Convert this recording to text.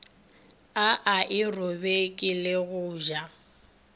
a aerobiki le go ja